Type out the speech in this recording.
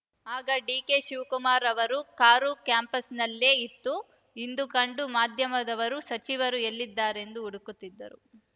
ಆಗ ಡಿಕೆಶಿವಕುಮಾರ್‌ ಅವರ ಕಾರು ಕ್ಯಾಂಪಸ್‌ನಲ್ಲೇ ಇತ್ತುಇಂದು ಕಂಡ ಮಾಧ್ಯಮದವರು ಸಚಿವರು ಎಲ್ಲಿದ್ದಾರೆಂದು ಹುಡುಕುತ್ತಿದ್ದರು